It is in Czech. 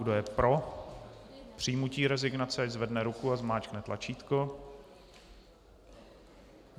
Kdo je pro přijmutí rezignace, ať zvedne ruku a zmáčkne tlačítko.